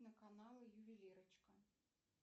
на каналы ювелирочка